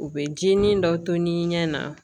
U bɛ ji nin dɔ to ni ɲɛ na